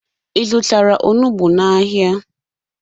Ị zụtara onugbu n'ahịa?